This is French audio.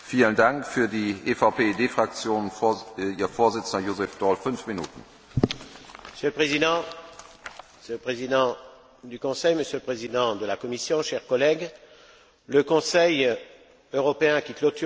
Monsieur le Président, Monsieur le Président du Conseil, Monsieur le Président de la Commission, chers collègues, le Conseil européen qui clôturera la présidence tchèque s'annonce encore assez flou, que ce soit sur sa date ou sur son contenu.